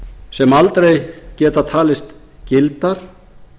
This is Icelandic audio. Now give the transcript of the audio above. sem aldrei geta talist gildar